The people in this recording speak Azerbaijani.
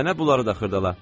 Mənə bunları da xırdala.